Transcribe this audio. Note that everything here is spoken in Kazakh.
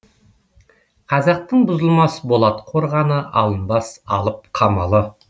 қазақтың бұзылмас болат қорғаны алынбас алып қамалы